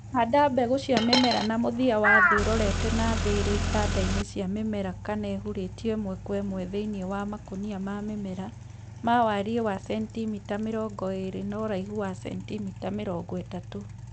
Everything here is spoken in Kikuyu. Handa mbegũ cia mĩmera na mũthia wa thĩ ũrorete na thĩ irĩ itanda-inĩ cia mĩmera kana ihurĩtio ĩmwe kwa ĩmwe thĩinĩ wa makũnia ma mĩmera, ma wariĩ wa cenitimita mĩrongo ĩrĩ na ũraihu wa cenitimita mĩrongo ĩtatũ